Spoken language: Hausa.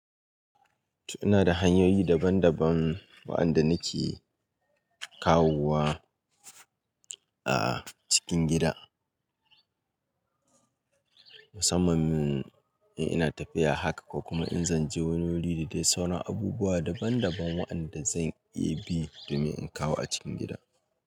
Ina da hanyoyi daban daban waɗanda nake kawowa a cikin gida. Musamman mun in ina tafiya haka ko kuma in zan je wani wuri da dai sauran abubuwa daban daban waɗanda zan iya bi domin in kawo a cikin gida.